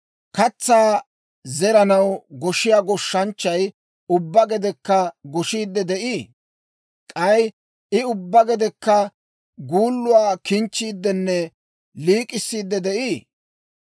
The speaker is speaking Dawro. Katsaa zeranaw goshiyaa goshshanchchay ubbaa gedekka goshiidde de'ii? K'ay I ubbaa gedekka guulluwaa kinchchiiddenne liik'issiiddi de'ii?